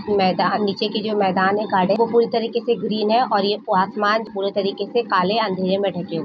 मैदान निचे की जो मैदान है गार्ड है वो पूरी तरह से ग्रीन है और ये आसमान पुरे काले और अंधरे में ढंके हुए है।